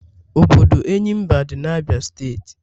Obodo Enyimba di na Abia state.